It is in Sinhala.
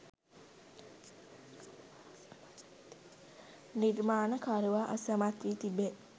නිර්මාණකරුවා අසමත් වී තිබේ